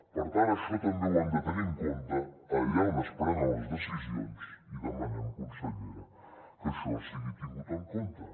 per tant això també ho han de tenir en compte allà on es prenen les decisions i demanem consellera que això sigui tingut en compte